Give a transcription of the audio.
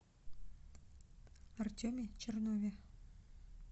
артеме чернове